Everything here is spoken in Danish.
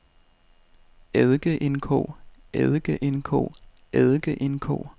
eddikeindkog eddikeindkog eddikeindkog